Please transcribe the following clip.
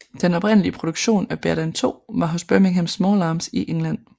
Den oprindelige produktion af Berdan II var hos Birmingham Small Arms i England